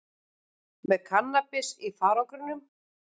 Með kannabis í farangrinum